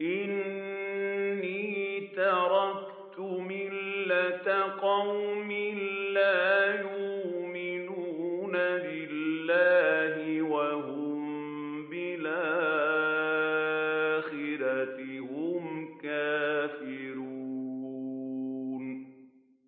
إِنِّي تَرَكْتُ مِلَّةَ قَوْمٍ لَّا يُؤْمِنُونَ بِاللَّهِ وَهُم بِالْآخِرَةِ هُمْ كَافِرُونَ